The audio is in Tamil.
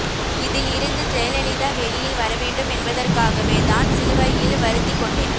இதில் இருந்து ஜெயலலிதா வெளியில் வரவேண்டும் என்பதற்காகவே தான் சிலுவையில் வருத்திக் கொண்டேன்